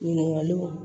Ɲininkaliw